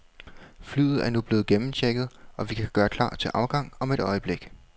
Flyet er nu blevet gennemchecket, og vi kan gøre klar til afgang om et øjeblik.